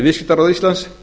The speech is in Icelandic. viðskiptaráð íslands